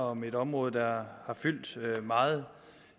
om et område der har fyldt meget